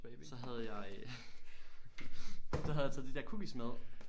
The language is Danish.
Så havde jeg øh så havde jeg taget de der cookies med